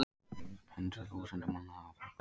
Hundruð þúsunda manna hafa fallið